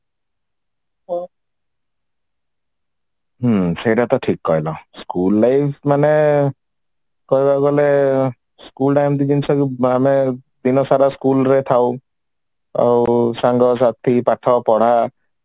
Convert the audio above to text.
ହୁଁ ସେଇଟା ତ ଠିକ କହିଲ school life ମାନେ କହିବାକୁ ଗଲେ school ତା ଏମିତି ଜିନିଷ ଯେ ଆମେ ଦିନ ସାରା school ରେ ଥାଉ ଆଉ ସାଙ୍ଗ ସାଥି ପାଠ ପଢା